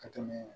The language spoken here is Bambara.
Ka tɛmɛ